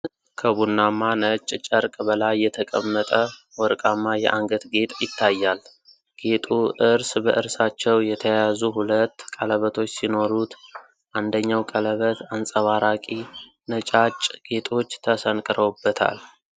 ከቡናማ ነጭ ጨርቅ በላይ የተቀመጠ ወርቃማ የአንገት ጌጥ ይታያል። ጌጡ እርስ በእርሳቸው የተያያዙ ሁለት ቀለበቶች ሲኖሩት፣ አንደኛው ቀለበት አንጸባራቂ ነጫጭ ጌጦች ተሰንቅረውበታል።